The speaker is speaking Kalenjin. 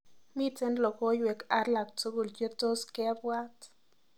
Miten logoywek alaktugul chetos kebwat